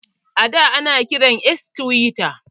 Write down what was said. Ada, ana kiran X tiwita.